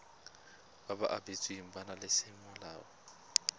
ba ba abetsweng bana semolao